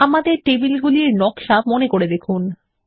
এখন টেবিল নকশায় ফিরে যাওয়া যাক